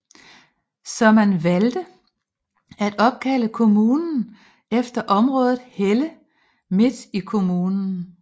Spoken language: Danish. Så man valgte at opkalde kommunen efter området Helle midt i kommunen